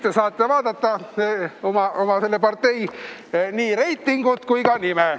Nüüd te saate vaadata oma partei reitingut kui ka nime.